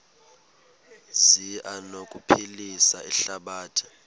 zi anokuphilisa ihlabathi